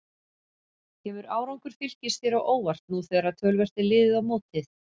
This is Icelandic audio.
Kemur árangur Fylkis þér á óvart nú þegar töluvert er liðið á mótið?